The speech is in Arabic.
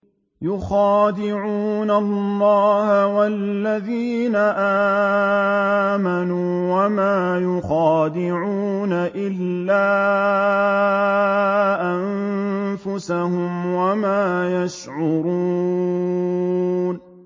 يُخَادِعُونَ اللَّهَ وَالَّذِينَ آمَنُوا وَمَا يَخْدَعُونَ إِلَّا أَنفُسَهُمْ وَمَا يَشْعُرُونَ